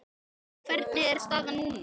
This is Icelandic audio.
Hvernig er staðan núna?